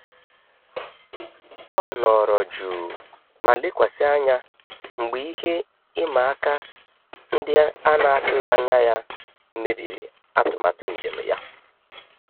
Ọ nọrọ jụụ ma lekwasị anya mgbe ihe ịma aka ndị a n'atụghị anya ya mebiri atụmatụ njem ya.